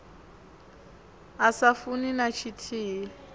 a sa funi na tshithihi